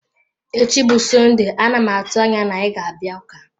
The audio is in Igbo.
Echi bụ Sọnde, a na m atụ anya na ị ga-abịa ụka.